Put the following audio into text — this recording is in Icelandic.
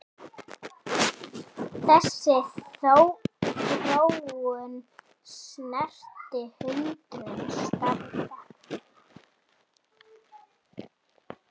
Þessi þróun snerti hundruð starfa.